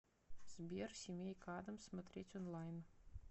сбер семейка аддамс смотреть онлайн